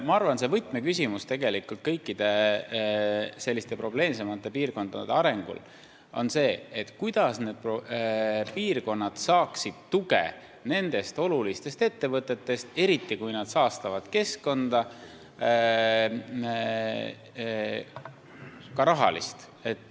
Ma arvan, et võtmeküsimus kõikide selliste probleemsemate piirkondade arengul on see, kuidas need piirkonnad saaksid tuge olulistelt ettevõtetelt, eriti kui need saastavad keskkonda, ka rahalist tuge.